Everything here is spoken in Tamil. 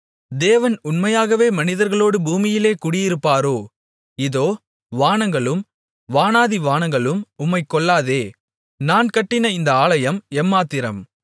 தேவன் உண்மையாகவே மனிதர்களோடு பூமியிலே குடியிருப்பாரோ இதோ வானங்களும் வானாதி வானங்களும் உம்மைக் கொள்ளாதே நான் கட்டின இந்த ஆலயம் எம்மாத்திரம்